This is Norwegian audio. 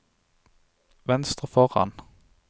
venstre foran